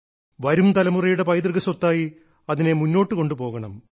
വരും തലമുറയുടെ പൈതൃകസ്വത്തായി അതിനെ മുന്നോട്ടു കൊണ്ടുപോകണം